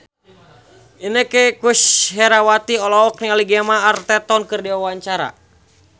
Inneke Koesherawati olohok ningali Gemma Arterton keur diwawancara